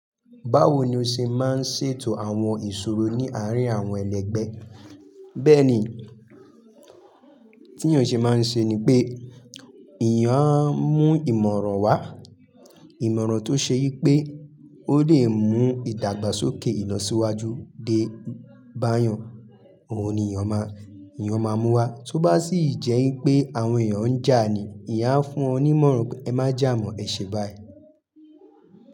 Báwo ni o ṣe máa ń ṣètò àwọn ìṣòro ní àárín àwọn ẹlẹgbẹ́? Bẹ́ẹ̀ ni, tí èyàn ṣe máa ń ṣe ni pé, èèyàn á mú ìmọ̀ràn wá. Ìmọ̀ràn tó ṣe i pé ó lè mú ìdàgbàsókè ìlo síwájú dé bá yàn. Ohun ni'yàn máa, èeyàn máa mú wá. Tó bá sì jẹ́ i pé àwọn èèyàn ń jà ni, èèyàn á fún wọn ní ìmọ̀ràn pé ẹ má jà mọ́, ẹ ṣe báyìí.